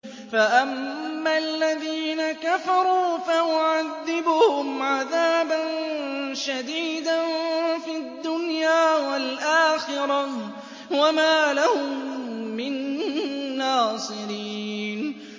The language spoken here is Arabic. فَأَمَّا الَّذِينَ كَفَرُوا فَأُعَذِّبُهُمْ عَذَابًا شَدِيدًا فِي الدُّنْيَا وَالْآخِرَةِ وَمَا لَهُم مِّن نَّاصِرِينَ